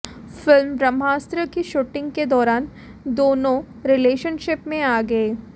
film Brahmastra की shooting के दौरान दोनों रिलेशनशिप में आ गए